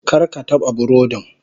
Kar ka taɓa burodin.